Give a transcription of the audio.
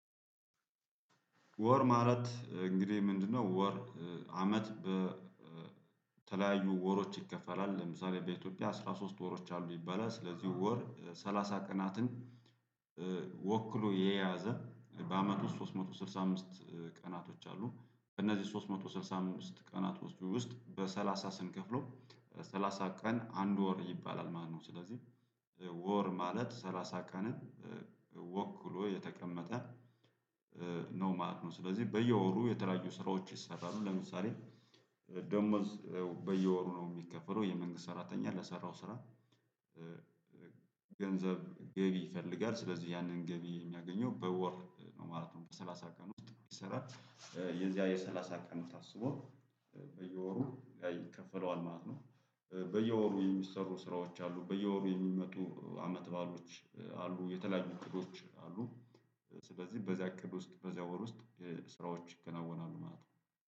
ወር ማለት እንግዲህ ምንድነው ወር አመት በተለያዩ ወሮች ይከፈላል ለምሳሌ በኢትዮጵያ አስራ ሶስት ወሮች አሉ ይባላል። ስለዚህ ወር ሰላሳ ቀናትን ወክሎ የያዘ በአመቱ ሶስት መቶ ስልሳ አምስት ቀናቶች አሉ በእነዚህ ሶስት መቶ ስልሳ አምስት ቀናቶች ውስጥ በሰላሳ ስንከፍለው በሰላሳ ቀን አንድ ወር ይባላል ማለት ነው። ስለዚህ ወር ማለት ሰላሳ ቀንን ወክሎ የተቀመጠ ነው ማለት ነው። ስለዚህ በየወሩ የተለያዩ ስራዎች ይሰራሉ። ለምሳሌ ደሞዝ በየወሩ ነው የሚከፈለው የመንግስት ሰራተኛ ለሰራው ስራ። ገንዘብ ገቢ ይፈልጋል ስለዚህ ያንን ገቢ የሚያገኘው በወር ነው ማለት ነው። በሰላሳ ቀን ውስጥ ይሰራል። የዚያ የሰላሳ ቀኑ ታስቦ በየወሩ ይከፈለዋል ማለት ነው። በየወሩ የሚሰሩ ስራዎች አሉ በየወሩ የሚመጡ አመት ባሎች አሉ የተለያዩ እቅዶች አሉ። በዚህ በዚያ እቅድ ውስጥ በዚያ ወር ውስጥ ስራዎች ይከናወናሉ ማለት ነው